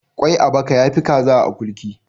kwai a baka ya Fi kaza a akurki